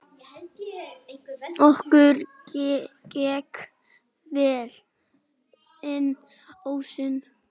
Okkur gekk vel inn ósinn.